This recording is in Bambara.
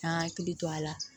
K'an hakili to a la